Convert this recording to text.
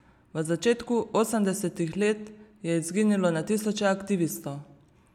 V začetku osemdesetih let je izginilo na tisoče aktivistov.